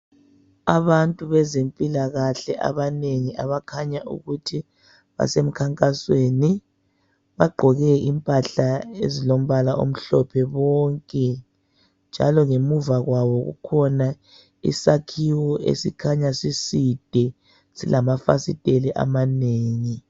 Abantu bezimpilakahle abanengi abakhanya ukuthi basemkhankasweni. Bagqoke impahla ezilombala omhlophe bonke, njalo ngemuva kwabo kukhona isakhiwo esikhanya siside silamafasitela amanengi.